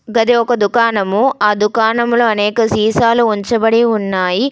గది ఒక దుకాణము ఆ దుకాణంలో అనేక సీసాలు ఉంచబడి ఉన్నాయి.